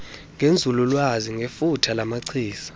ngenzululwazi ngefuthe lamachiza